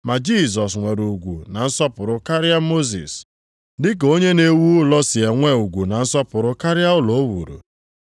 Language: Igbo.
Ma Jisọs nwere ugwu na nsọpụrụ karịa Mosis, dịka onye na-ewu ụlọ si enwe ugwu na nsọpụrụ karịa ụlọ o wuru.